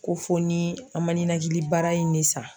Ko fo ni an ma ninakili bara in ne san.